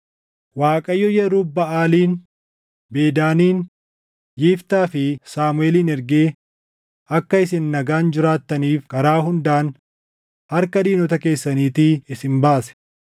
Waaqayyo Yerub-Baʼaalin, Bedaanin, Yiftaa fi Saamuʼeelin ergee akka isin nagaan jiraattaniif karaa hundaan harka diinota keessaniitii isin baase.